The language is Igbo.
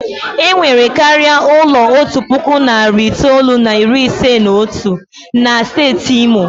E nwere karịa ụlọ otu puku na narị itoolu na iri ise na otu na steeti Imo.